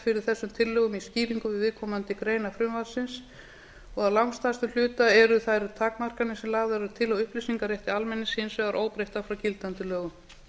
fyrir þessum tillögum í skýringu við viðkomandi greina frumvarpsins og að langstærstum hluta eru þær takmarkanir sem lagðar eru til á upplýsingarétti almennings hins vegar óbreyttar frá gildandi lögum